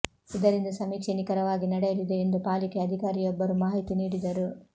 ಇದರಿಂದ ಸಮೀಕ್ಷೆ ನಿಖರವಾಗಿ ನಡೆಯಲಿದೆ ಎಂದು ಪಾಲಿಕೆ ಅಧಿಕಾರಿಯೊಬ್ಬರು ಮಾಹಿತಿ ನೀಡಿದರು